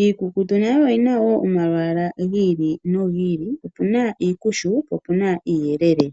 Iikukutu nayo oyina omalwaala gi ili nogi ili opena iikushu niiyelele.